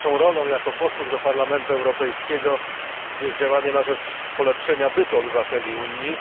Naszą rolą, jako posłów do Parlamentu Europejskiego, jest działanie na rzecz polepszenia bytu obywateli Unii.